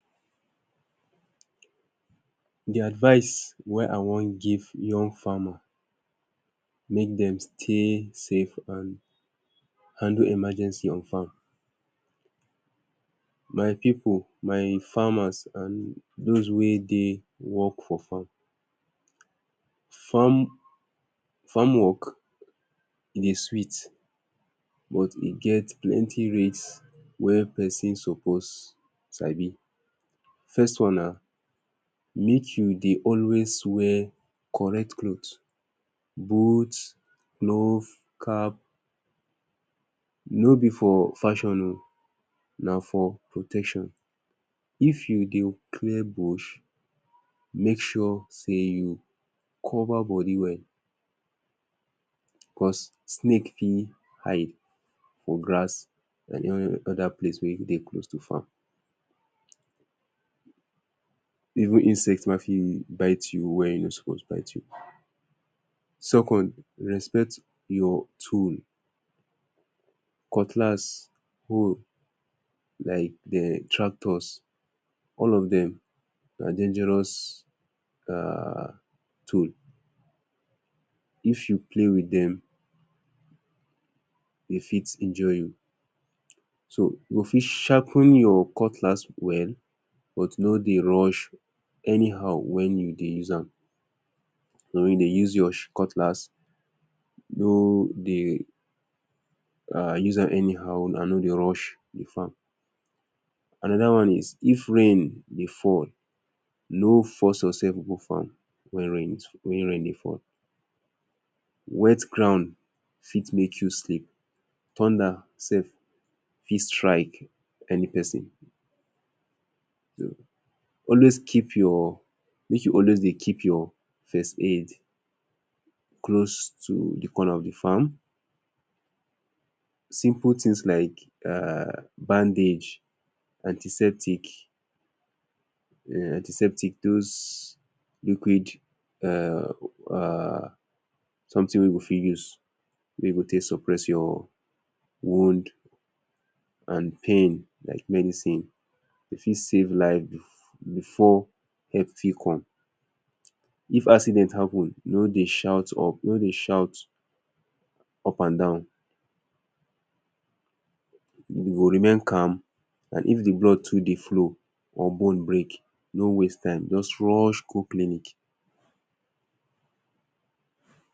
De advice wey I wan give young farmer make dem stay safe and handle emergency on farm my people my farmers and those wey dey work for farm farm farm work e dey sweet but e get plenty risk wey person suppose sabi first One: na make you dey always wear correct clothes, boots glove, cap: no be for fashion oh, na for protection. if you dey clear bush, make sure sey you cover body well because snake fit hide for grass and other place wey dey close to farm. even insect mafi bite you were e no suppose bite you. Second: na respect your tools: cutlass, hoe like dem tractors all of dem, na dangerous um tools if you play with dem, dey fit injure you. so you fit sharpen your cutlass well but no dey rush anyhow when you dey use am. when you dey use your cutlass, no dey use am anyhow and no dey rush di farm. another one is of rain dey fall, no force yourself go farm when rain is, when rain dey fall. wet ground fit make you slip. thunder self fit strike any person. always keep your make you always dey keep your first aid close to de corner of de farm. simple thing like[um] bandage antiseptic um antiseptic those liquid um something wey we go fit use wey go take suppress your wound and pain like medicine. e go fit safe life before help fit come. if accident happen no dey shout up and down. no dey shout up and down you go remain calm and if de blood too dey flow or bone break no waste time just rush go clinic.